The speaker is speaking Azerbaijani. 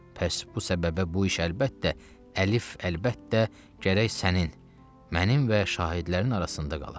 Pəs bu səbəbə bu iş əlbəttə, əlif, əlbəttə gərək sənin, mənim və şahidlərin arasında qala.